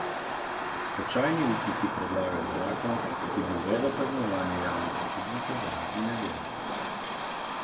Stečajni upniki predlagajo zakon, ki bi uvedel kaznovanje javnih uslužbencev zaradi nedelo.